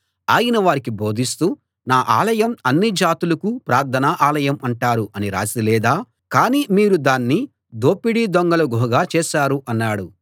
ఆయన వారికి బోధిస్తూ నా ఆలయం అన్ని జాతులకూ ప్రార్థనా ఆలయం అంటారు అని రాసి లేదా కానీ మీరు దాన్ని దోపిడి దొంగల గుహగా చేశారు అన్నాడు